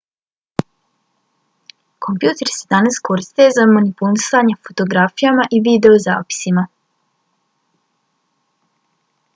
kompjuteri se danas koriste za manipulisanje fotografijama i videozapisima